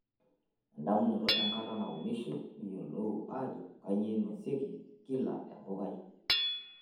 Endamunoto enkata naunishoi, niyiolou ajo kanyioo einosieki kila empukai.